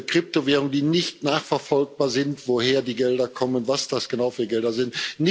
Kryptowährungen, bei denen nicht nachverfolgbar ist, woher die Gelder kommen, was das genau für Gelder sind.